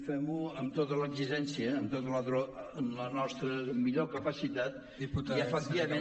fem ho amb tota l’exigència amb tota la nostra millor capacitat i efectivament